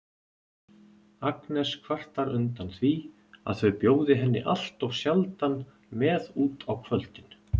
Agnes kvartar undan því að þau bjóði henni alltof sjaldan með út á kvöldin.